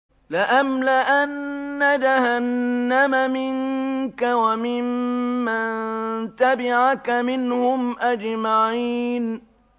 لَأَمْلَأَنَّ جَهَنَّمَ مِنكَ وَمِمَّن تَبِعَكَ مِنْهُمْ أَجْمَعِينَ